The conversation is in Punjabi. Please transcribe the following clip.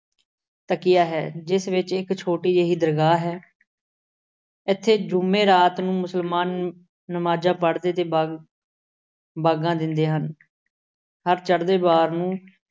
ਤਕੀਆ ਹੈ ਜਿਸ ਵਿੱਚ ਇੱਕ ਛੋਟੀ ਜਿਹੀ ਦਰਗਾਹ ਹੈ। ਇੱਥੇ ਜੁੰਮੇ ਰਾਤ ਨੂੰ ਮੁਸਲਮਾਨ ਨ ਅਹ ਨਮਾਜ਼ਾਂ ਪੜ੍ਹਦੇ ਤੇ ਬਾਗ ਅਹ ਦਿੰਦੇ ਹਨ। ਹਰ ਚੜ੍ਹਦੇ ਵਾਰ ਨੂੰ